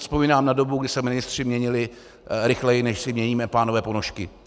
Vzpomínám na dobu, kdy se ministři měnili rychleji, než si měníme, pánové, ponožky.